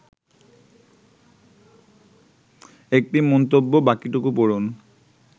১টি মন্তব্য বাকিটুকু পড়ুন